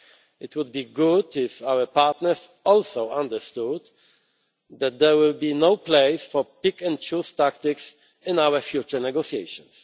It would be good if our partners also understood that there will be no place for pick and choose tactics in our future negotiations.